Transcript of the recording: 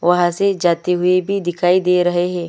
वहाँ से जाते हुए भी दिखाई दे रहे है।